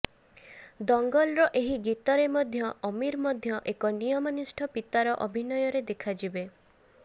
ଦଙ୍ଗଲର ଏହି ଗୀତରେ ମଧ୍ୟ ଆମୀର ମଧ୍ୟ ଏକ ନିୟମନିଷ୍ଠ ପିତାର ଅଭିନୟରେ ଦେଖାଯିବେ